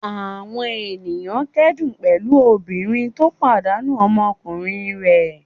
Àwọn ènìyàn kẹ́dùn pẹ̀lú obìnrin tó pàdánù ọmọkùnrin rẹ̀.